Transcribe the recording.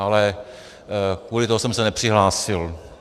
Ale kvůli tomu jsem se nepřihlásil.